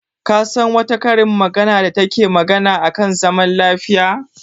Ka san wata karin magana da take magana a kan zaman lafiya?